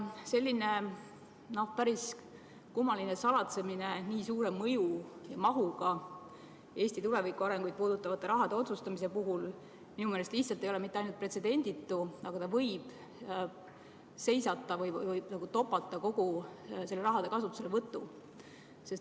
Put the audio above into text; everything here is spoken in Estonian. Selline päris kummaline salatsemine nii suure mõju ja mahuga Eesti tulevikuarengut puudutava raha jagamise otsustamise puhul ei ole minu meelest lihtsalt mitte ainult pretsedenditu, vaid võib seisata või topata kogu selle raha kasutuselevõtu.